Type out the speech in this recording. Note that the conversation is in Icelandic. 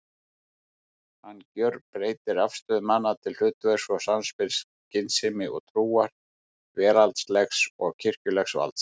Hann gjörbreytir afstöðu manna til hlutverks og samspils skynsemi og trúar, veraldlegs og kirkjulegs valds.